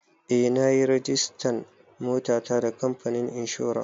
Eh na yi rajistan motata da kamfanin inshora.